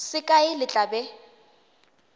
se kae le tla be